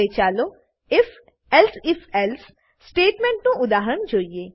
હવે ચાલો if elsif else સ્ટેટમેંટનું ઉદાહરણ જોઈએ